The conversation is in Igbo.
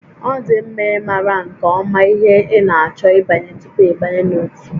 Ọ dị mma ịmara nke ọma ihe ị na-achọ ịbanye tupu ịbanye n'ótú